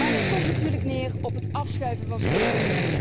Maar het komt natuurlijk neer op het afschuiven van schulden.